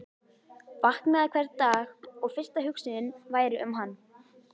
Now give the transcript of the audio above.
Vaknaði hvern dag og fyrsta hugsunin væri um hann.